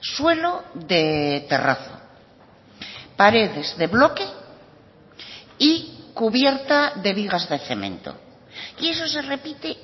suelo de terrazo paredes de bloque y cubierta de vigas de cemento y eso se repite